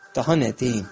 Daha nə deyim?